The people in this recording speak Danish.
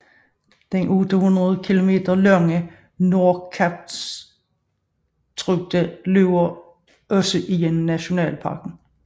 Den 800 km lange Nordkalottruta løber også gennem nationalparken